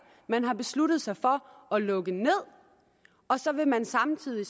man har besluttet sig for at lukke ned og så vil man samtidig